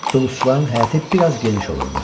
Dulusçuların həyəti biraz geniş olurdu.